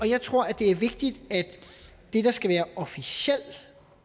jeg tror det er vigtigt at det der skal være officiel